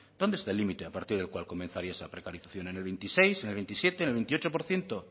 dónde está el límite a partir del cual comenzaría esa precarización en el veintiséis en el veintisiete en el veintiocho por ciento